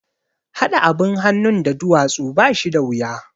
Haɗa abin hannun da duwatsu ba shi da wuya